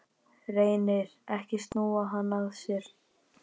Reynir ekki að snúa hann af sér.